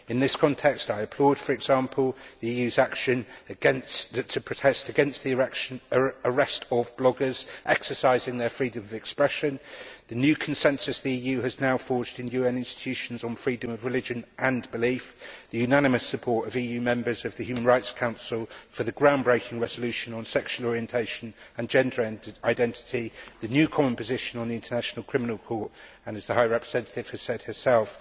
In this context, I applaud, for example, the EU's action to protest against the arrest of bloggers exercising their freedom of expression, the new consensus the EU has now forged in EU institutions on freedom of religion and belief, the unanimous support of EU members of the Human Rights Council for the groundbreaking resolution on sexual orientation and gender identity, the new common position on the international criminal court, and, as the High Representative has said herself,